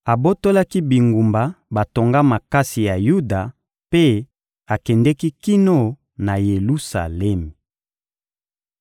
Abotolaki bingumba batonga makasi ya Yuda mpe akendeki kino na Yelusalemi.